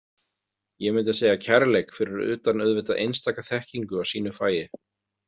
ég myndi segja kærleik fyrir utan auðvitað einstaka þekkingu á sínu fagi.